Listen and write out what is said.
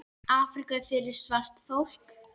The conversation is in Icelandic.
Afríka er fyrir svart fólk.